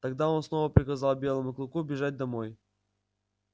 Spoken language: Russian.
тогда он снова приказал белому клыку бежать домой